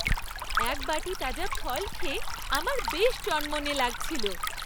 এক বাটি তাজা ফল খেয়ে আমার বেশ চনমনে লাগছিলো।